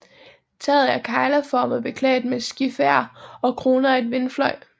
Taget er kegleformet beklædt med skifer og kronet af en vindfløj